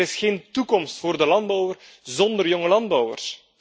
Er is geen toekomst voor de landbouwer zonder jonge landbouwers.